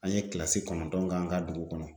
An ye kilasi kɔnɔntɔn k'an ka dugu kɔnɔ